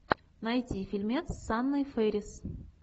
найти фильмец с анной фэрис